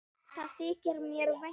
Það þykir mér vænt um.